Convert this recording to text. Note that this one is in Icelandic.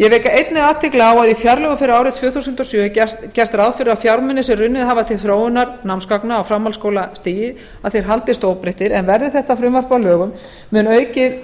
ég vek einnig athygli á að í fjárlögum fyrir árið tvö þúsund og sjö er gert ráð fyrir að fjármunir sem runnið hafa til þróunar námsgagna á framhaldsskólastigi haldist óbreyttir en verði þetta frumvarp að lögum mun aukið